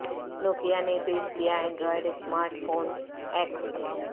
نو کیا نے پیش کیا Android smart phone x